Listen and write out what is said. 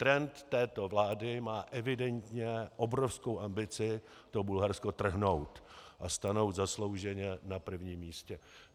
Trend této vlády má evidentně obrovskou ambici to Bulharsko trhnout a stanout zaslouženě na prvním místě.